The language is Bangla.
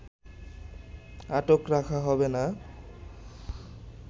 আটক রাখা হবে না